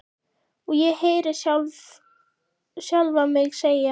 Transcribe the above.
Og ég heyri sjálfa mig segja